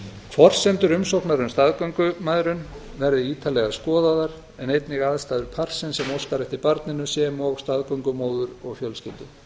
forsendur umsóknar um staðgöngumæðrun verði ítarlega skoðaðar en einnig aðstæður parsins sem óskar eftir barninu sem og staðgöngumóður og fjölskyldu